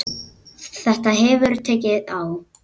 Þetta hefur tekið á.